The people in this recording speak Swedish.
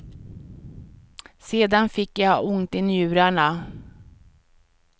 Sedan fick jag ont i njurarna.